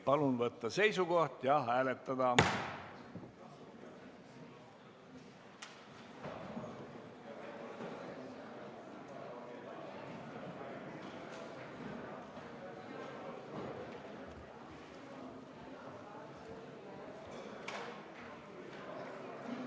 Palun võtta seisukoht ja hääletada!